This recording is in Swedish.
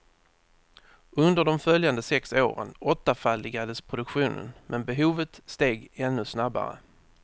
Under de följande sex åren åttafaldigades produktionen, men behovet steg ännu snabbare.